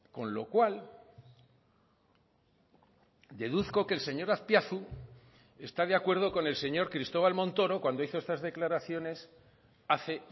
con lo cual deduzco que el señor azpiazu está de acuerdo con el señor cristóbal montoro cuando hizo estas declaraciones hace